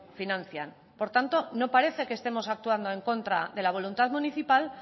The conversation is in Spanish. financian por tanto no parece que estemos actuando en contra de la voluntad municipal